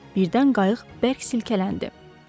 Birdən qayıq bərk silkələndi.